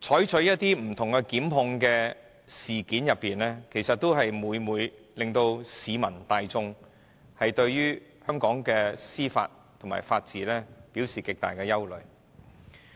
就不同事件所作的檢控決定，亦每每令市民大眾對香港的司法和法治產生極大憂慮。